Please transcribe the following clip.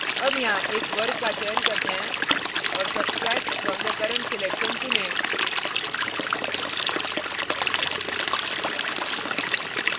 अब यहाँ एक वर्ग का चयन करते हैं और substract from the current selection चुनें